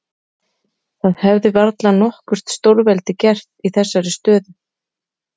Það hefði varla nokkurt stórveldi gert í þessari stöðu.